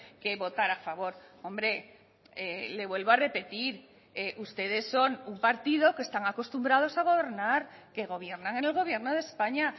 que votar a favor hombre le vuelvo a repetir ustedes son un partido que están acostumbrados a gobernar que gobiernan en el gobierno de españa